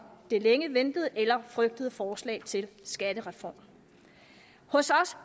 det længe ventede eller frygtede forslag til skattereform hos os